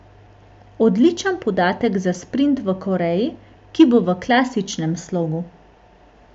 Odličen podatek za sprint v Koreji, ki bo v klasičnem slogu.